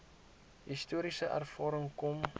historiese ervaring kom